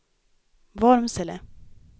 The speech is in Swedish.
Vormsele